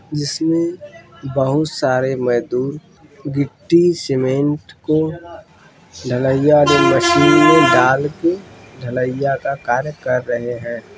जिसमें बोहोत सारे मईदुर गिट्टी सीमेंट को ढलैया दे मशीन में डालके ढलैया का कार्य कर रहे हैं।